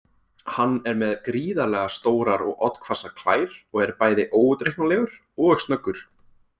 Hann er með gríðarlega stórar og oddhvassar klær og er bæði óútreiknanlegur og snöggur.